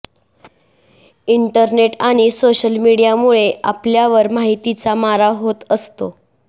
internet आणि social मीडियामुळे आपल्यावर माहितीचा मारा होत असतो